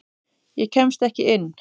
Ég kemst ekki inn.